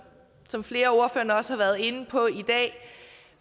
som flere af ordførerne også har været inde på i dag